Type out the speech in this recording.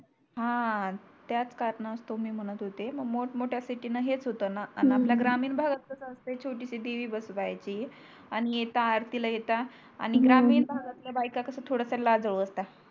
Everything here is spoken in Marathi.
हा त्याच कारणातो मी म्हणत होते मोठ मोठ्या सिटि हेच होतो णा आणि हो हो आपल्या ग्रामीण भागात कस असत छोटीशी देवी बसव्याची आणि येता आरतीला येता आणि ग्रामीण हो हो भागातल्या बायका कस थोडस लाजाळु असतात